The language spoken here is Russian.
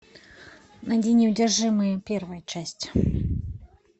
найди неудержимые первая часть